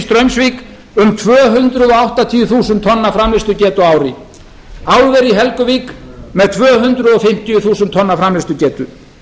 straumsvík um tvö hundruð áttatíu þúsund framleiðslugetu á ári álver í helguvík með tvö hundruð fimmtíu þúsund tonna framleiðslugetu